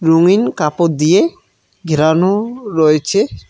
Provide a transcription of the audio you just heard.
রঙিন কাপড় দিয়ে ঘেরানো -ও রয়েছে।